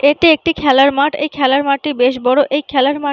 এটি একটি খেলার মাঠ এই খেলার মাঠ টি বেশ বড়। এই খেলার মাঠ --